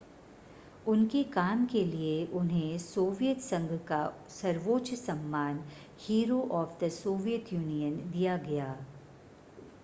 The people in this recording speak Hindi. उनके काम के लिए उन्हें सोवियत संघ का सर्वोच्च सम्मान hero of the Soviet Union दिया गया